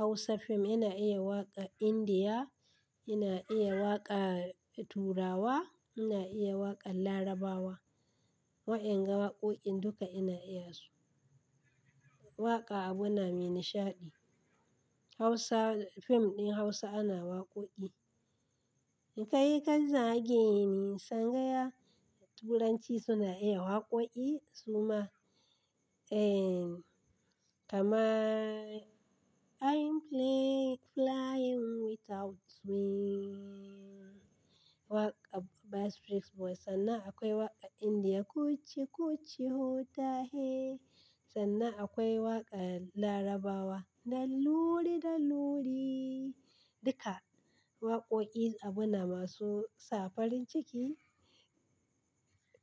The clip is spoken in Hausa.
Hausa fim, ina iya waƙa Indiya, ina iya waƙar Turawa, ina iya waƙar Larabawa. Wa'yan ga waƙoƙin duka ina iya su. Waƙa abu na mai nishaɗi. Hausa, fim ɗin Hausa ana waƙoƙi. Kai kazzage ni sangaya. Turanci suna iya waƙoƙi suma. Ehn, kamar "I'm fle flying without wings. Waƙar Back street boys. Sannan akwai waƙa Indiya kuchi kuchi ho ta he. Sannan akwai waƙar Larabawa "la luri da luri". Duka waƙoƙi abu na masu sa farin ciki.